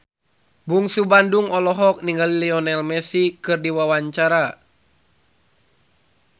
Bungsu Bandung olohok ningali Lionel Messi keur diwawancara